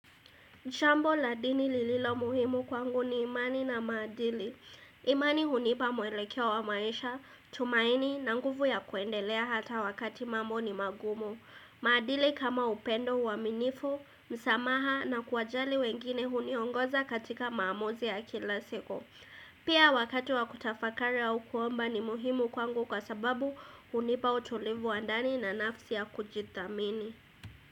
Shambo la dini lililo muhimu kwangu ni imani na madili imani hunipa mwelekeo wa maisha, tumaini na nguvu ya kuendelea hata wakati mambo ni magumu maadili kama upendo uwaminifu, msamaha na kuwajali wengine huniongoza katika maamuzi ya kila siku Pia wakati wa kutafakari au kuomba ni muhimu kwangu kwa sababu hunipa utulivu wa ndani na nafsi ya kujithamini.